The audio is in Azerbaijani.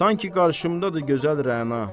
Sanki qarşımdadır gözəl Rəna.